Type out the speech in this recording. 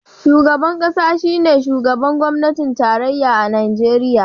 Shugaban kasa shine shugaban gwamnatin tarayya a Najeriya.